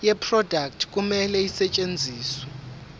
yeproduct kumele isetshenziswe